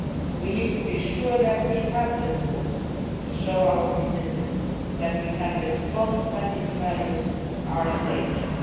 We need to be sure that we have the tools to show our citizens that we can respond when these values are endangered.